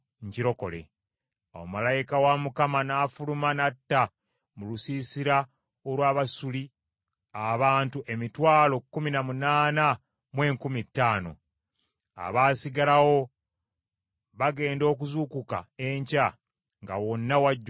Awo malayika wa Mukama n’afuluma n’atta mu lusiisira olw’Abasuli abantu emitwalo kkumi na munaana mu enkumi ttaano. Abaasigalawo bagenda okuzuukuka enkya nga wonna wajjudde mirambo.